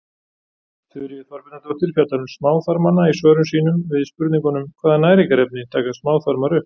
Þuríður Þorbjarnardóttir fjallar um smáþarmana í svörum sínum við spurningunum Hvaða næringarefni taka smáþarmar upp?